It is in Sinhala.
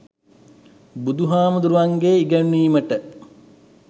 බුදුහාමුදුරුවන්ගෙ ඉගැන්වීමට